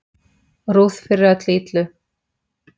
Ruth fyrir öllu illu.